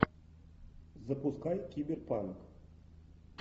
запускай киберпанк